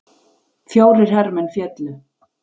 Fjórir hermenn féllu